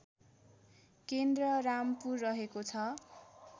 केन्द्र रामपुर रहेको छ